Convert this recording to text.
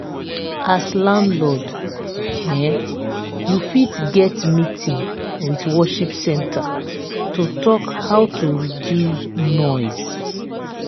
as landlord um you fit get meeting with worship centre to talk how to reduce noise